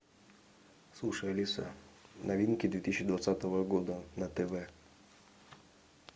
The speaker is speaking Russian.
слушай алиса новинки две тысячи двадцатого года на тв